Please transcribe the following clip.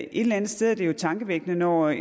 eller andet sted er det jo tankevækkende når